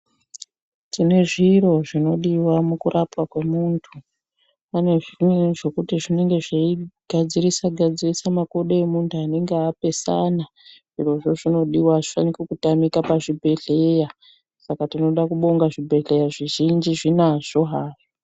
Tine zviro zvinodiwa mukurapwa kwemuntu pane zvimweni zvekuti zvinenge zveigadzirisa gadzirisa makodo emuntu anenge apesana zvirozvo zvinodiwa azvifani kutamika pazvibhedhlera Saka tinoda kubonga zvibhedhlera zvizhinji zvinazvo hazvo.